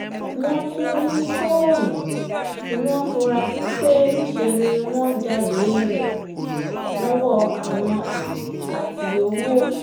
wọ́n tún rí fóònù tí wọ́n fura sí pé níṣẹ́ ni wọ́n jálẹ̀ rẹ̀ lọ́wọ́ àwọn èrò àti owó